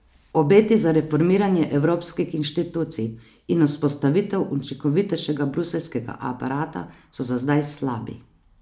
Obeti za reformiranje evropskih inštitucij in vzpostavitev učinkovitejšega bruseljskega aparata so za zdaj slabi.